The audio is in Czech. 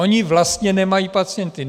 Ony vlastně nemají pacienty.